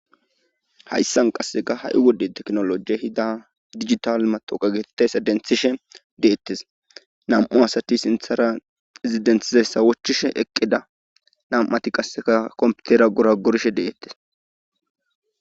Hayssan qassega ha7i wodde teknoloje hida digital matoqageetes edenthishe deettes nam7u asati sinthara ezidentizayssa wochchishe eqqida nam7ati qasseka komputera gora gorshe deettes